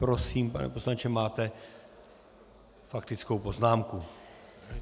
Prosím, pane poslanče, máte faktickou poznámku.